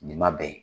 Nin ma bɛn